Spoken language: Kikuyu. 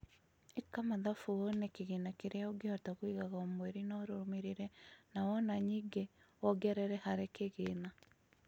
ĩka mathabu wonekĩgĩna kiria ũngihota kũigaga O mweri na ũrũmĩrĭrĩe nawona nyingawgi wongerere harĭ kĭgĩna.